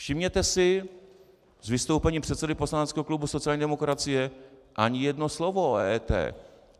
Všimněte si, z vystoupení předsedy poslaneckého klubu sociální demokracie ani jedno slovo o EET.